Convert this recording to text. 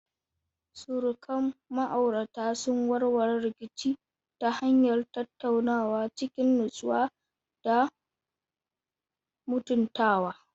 Surukan ma'auratan sun warware rikici ta hanyar tattaunawa cikin natsuwa da mutuntawa.